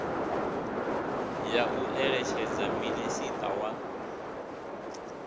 ya u eletshedza minisiṱa wa